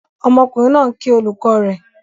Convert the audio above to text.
Ọmọkùnrin náà ń kí olùkọ́ rẹ̀.